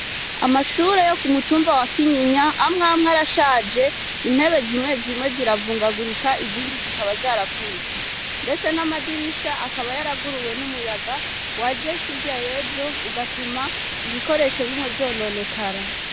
Amashure yo ku mutumba wa Kinyinya amwe amwe arashaje intebe zimwe zimwe ziravungagurika izindi zikaba zaravunitse, ndetse n'amadirisha akaba yaraguruwe numuyaga waje hirya yejo ugatuma ibikoresho bimwe vyononekara.